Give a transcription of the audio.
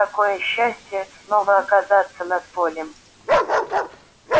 какое счастье снова оказаться над полем